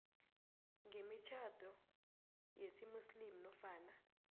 kwemitjhado yesimuslimu nofana